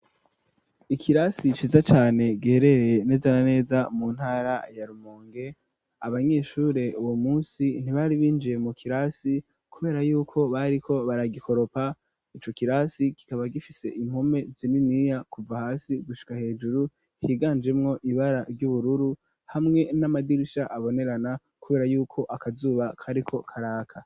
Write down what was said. Ikirasi ciza cane giherereye neza na neza mu ntara ya Rumonge. Abanyeshure uwo munsi ntibari binjiye mu kirasi kubera yuko bariko baragikoropa. Ico kirasi kikaba gifise impome zininiya kuva hasi gushika hejuru higanjemwo ibara ry'ubururu hamwe n'amadirisha abonerana kubera yuko akazuba kariko karaka.